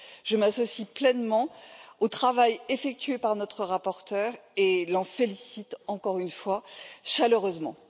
Je m'associe pleinement au travail effectué par notre rapporteur et l'en félicite, encore une fois, chaleureusement.